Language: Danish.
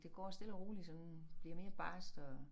Det går stille og roligt sådan bliver mere barskt og